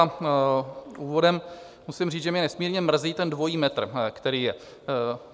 A úvodem musím říct, že mě nesmírně mrzí ten dvojí metr, který je.